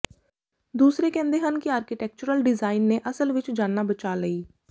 ਦੂਸਰੇ ਕਹਿੰਦੇ ਹਨ ਕਿ ਆਰਕੀਟੈਕਚਰਲ ਡਿਜ਼ਾਈਨ ਨੇ ਅਸਲ ਵਿੱਚ ਜਾਨਾਂ ਬਚਾ ਲਈ